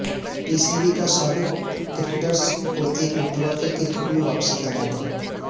پی C B کا سابق cricketers کو ایک مرتبہ پھر کرکٹ میں واپسی کا موقع